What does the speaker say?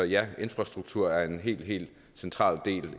ja infrastruktur er en helt helt central del